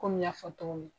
Komi n y'a fɔ cogo min